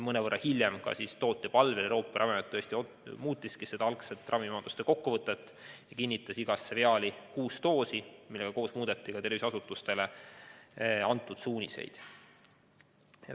Mõnevõrra hiljem Euroopa Ravimiamet tootja palvel tõesti muutiski algset ravimi omaduste kokkuvõtet ja kinnitas iga viaali kohta kuus doosi, misjärel muudeti ka tervishoiuasutustele antud suuniseid.